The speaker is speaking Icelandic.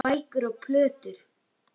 Bækur og plötur.